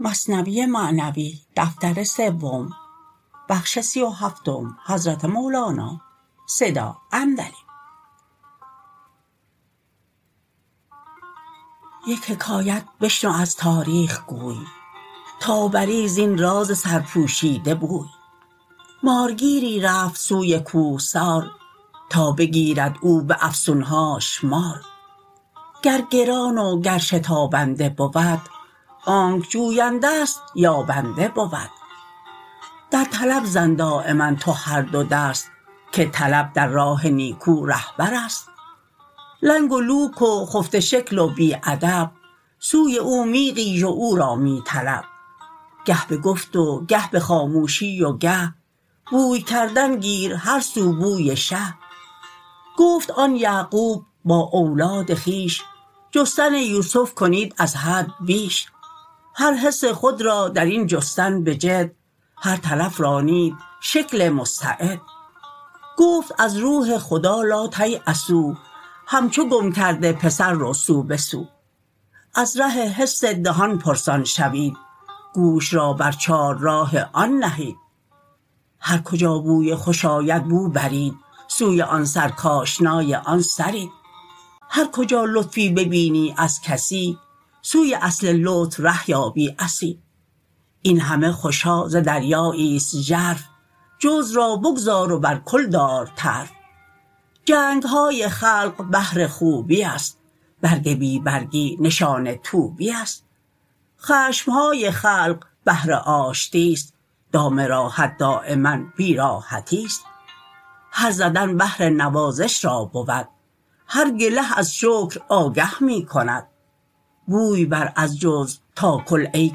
یک حکایت بشنو از تاریخ گوی تا بری زین راز سرپوشیده بوی مارگیری رفت سوی کوهسار تا بگیرد او به افسون هاش مار گر گران و گر شتابنده بود آنک جوینده ست یابنده بود در طلب زن دایما تو هر دو دست که طلب در راه نیکو رهبر ست لنگ و لوک و خفته شکل و بی ادب سوی او می غیژ و او را می طلب گه به گفت و گه به خاموشی و گه بوی کردن گیر هر سو بوی شه گفت آن یعقوب با اولاد خویش جستن یوسف کنید از حد بیش هر حس خود را درین جستن به جد هر طرف رانید شکل مستعد گفت از روح خدا لاتیأسوا همچو گم کرده پسر رو سو به سو از ره حس دهان پرسان شوید گوش را بر چار راه آن نهید هر کجا بوی خوش آید بو برید سوی آن سر کاشنای آن سرید هر کجا لطفی ببینی از کسی سوی اصل لطف ره یابی عسی این همه خوش ها ز دریایی ست ژرف جزو را بگذار و بر کل دار طرف جنگ های خلق بهر خوبی است برگ بی برگی نشان طوبی است خشم های خلق بهر آشتی ست دام راحت دایما بی راحتی ست هر زدن بهر نوازش را بود هر گله از شکر آگه می کند بوی بر از جزو تا کل ای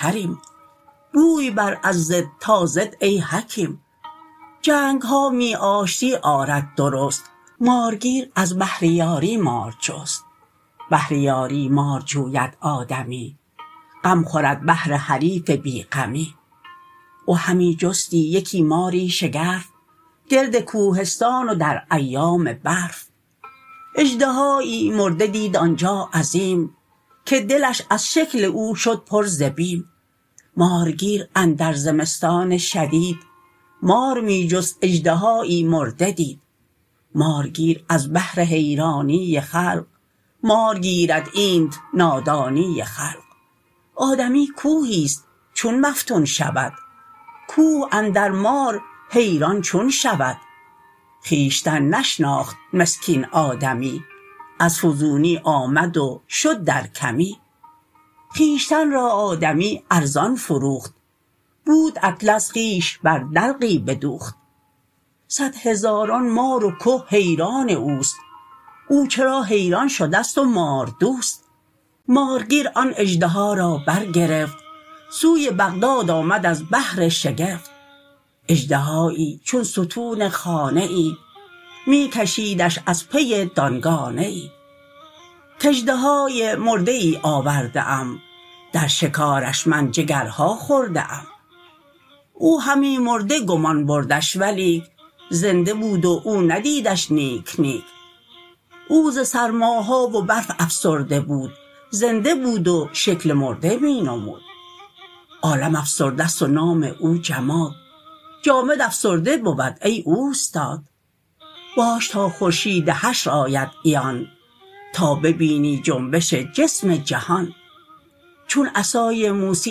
کریم بوی بر از ضد تا ضد ای حکیم جنگ ها می آشتی آرد درست مارگیر از بهر یاری مار جست بهر یاری مار جوید آدمی غم خورد بهر حریف بی غمی او همی جستی یکی ماری شگرف گرد کوهستان و در ایام برف اژدهایی مرده دید آنجا عظیم که دلش از شکل او شد پر ز بیم مارگیر اندر زمستان شدید مار می جست اژدهایی مرده دید مارگیر از بهر حیرانی خلق مار گیرد اینت نادانی خلق آدمی کوهی ست چون مفتون شود کوه اندر مار حیران چون شود خویشتن نشناخت مسکین آدمی از فزونی آمد و شد در کمی خویشتن را آدمی ارزان فروخت بود اطلس خویش بر دلقی بدوخت صد هزاران مار و که حیران اوست او چرا حیران شده ست و مار دوست مارگیر آن اژدها را برگرفت سوی بغداد آمد از بهر شگفت اژدهایی چون ستون خانه ای می کشیدش از پی دانگانه ای کاژدهای مرده ای آورده ام در شکارش من جگرها خورده ام او همی مرده گمان بردش ولیک زنده بود و او ندیدش نیک نیک او ز سرما ها و برف افسرده بود زنده بود و شکل مرده می نمود عالم افسرده ست و نام او جماد جامد افسرده بود ای اوستاد باش تا خورشید حشر آید عیان تا ببینی جنبش جسم جهان چون عصای موسی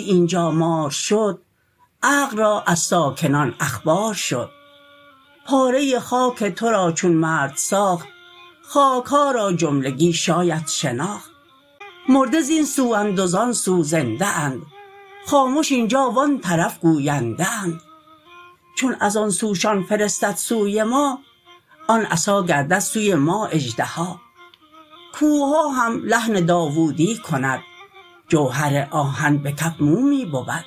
اینجا مار شد عقل را از ساکنان اخبار شد پاره خاک تو را چون مرد ساخت خاک ها را جملگی شاید شناخت مرده زین سو اند و زان سو زنده اند خامش اینجا و آن طرف گوینده اند چون از آن سوشان فرستد سوی ما آن عصا گردد سوی ما اژدها کوهها هم لحن داودی کند جوهر آهن به کف مومی بود باد حمال سلیمانی شود بحر با موسی سخن دانی شود ماه با احمد اشارت بین شود نار ابراهیم را نسرین شود خاک قارون را چو ماری درکشد استن حنانه آید در رشد سنگ بر احمد سلامی می کند کوه یحیی را پیامی می کند ما سمیعیم و بصیریم و خوشیم با شما نامحرمان ما خامشیم چون شما سوی جمادی می روید محرم جان جمادان چون شوید از جمادی عالم جانها روید غلغل اجزای عالم بشنوید فاش تسبیح جمادات آیدت وسوسه ی تاویلها نربایدت چون ندارد جان تو قندیل ها بهر بینش کرده ای تاویل ها که غرض تسبیح ظاهر کی بود دعوی دیدن خیال غی بود بلک مر بیننده را دیدار آن وقت عبرت می کند تسبیح خوان پس چو از تسبیح یادت می دهد آن دلالت همچو گفتن می بود این بود تاویل اهل اعتزال و آن آنکس کو ندارد نور حال چون ز حس بیرون نیامد آدمی باشد از تصویر غیبی اعجمی این سخن پایان ندارد مارگیر می کشید آن مار را با صد زحیر تا به بغداد آمد آن هنگامه جو تا نهد هنگامه ای بر چارسو بر لب شط مرد هنگامه نهاد غلغله در شهر بغداد اوفتاد مارگیری اژدها آورده است بوالعجب نادر شکاری کرده است جمع آمد صد هزاران خام ریش صید او گشته چو او از ابلهیش منتظر ایشان و هم او منتظر تا که جمع آیند خلق منتشر مردم هنگامه افزون تر شود کدیه و توزیع نیکوتر رود جمع آمد صد هزاران ژاژخا حلقه کرده پشت پا بر پشت پا مرد را از زن خبر نه ز ازدحام رفته درهم چون قیامت خاص و عام چون همی حراقه جنبانید او می کشیدند اهل هنگامه گلو و اژدها کز زمهریر افسرده بود زیر صد گونه پلاس و پرده بود بسته بودش با رسن های غلیظ احتیاطی کرده بودش آن حفیظ در درنگ انتظار و اتفاق تافت بر آن مار خورشید عراق آفتاب گرمسیر ش گرم کرد رفت از اعضای او اخلاط سرد مرده بود و زنده گشت او از شگفت اژدها بر خویش جنبیدن گرفت خلق را از جنبش آن مرده مار گشتشان آن یک تحیر صد هزار با تحیر نعره ها انگیختند جملگان از جنبشش بگریختند می سکست او بند و زان بانگ بلند هر طرف می رفت چاقاچاق بند بندها بسکست و بیرون شد ز زیر اژدهایی زشت غران همچو شیر در هزیمت بس خلایق کشته شد از فتاده کشتگان صد پشته شد مارگیر از ترس بر جا خشک گشت که چه آوردم من از کهسار و دشت گرگ را بیدار کرد آن کور میش رفت نادان سوی عزراییل خویش اژدها یک لقمه کرد آن گیج را سهل باشد خون خوری حجیج را خویش را بر استنی پیچید و بست استخوان خورده را در هم شکست نفست اژدرهاست او کی مرده است از غم و بی آلتی افسرده است گر بیابد آلت فرعون او که به امر او همی رفت آب جو آنگه او بنیاد فرعونی کند راه صد موسی و صد هارون زند کرمک است آن اژدها از دست فقر پشه ای گردد ز جاه و مال صقر اژدها را دار در برف فراق هین مکش او را به خورشید عراق تا فسرده می بود آن اژدهات لقمه اویی چو او یابد نجات مات کن او را و ایمن شو ز مات رحم کم کن نیست او ز اهل صلات کان تف خورشید شهوت برزند آن خفاش مردریگت پر زند می کشانش در جهاد و در قتال مردوار الله یجزیک الوصال چونک آن مرد اژدها را آورید در هوای گرم خوش شد آن مرید لاجرم آن فتنه ها کرد ای عزیز بیست همچندان که ما گفتیم نیز تو طمع داری که او را بی جفا بسته داری در وقار و در وفا هر خسی را این تمنی کی رسد موسیی باید که اژدرها کشد صد هزاران خلق ز اژدرهای او در هزیمت کشته شد از رای او